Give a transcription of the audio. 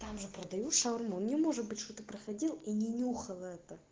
там же продают шаурму не может быть что ты проходил и не нюхал это